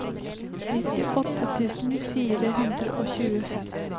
nittiåtte tusen fire hundre og tjuefem